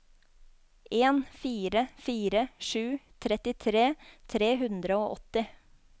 en fire fire sju trettitre tre hundre og åtti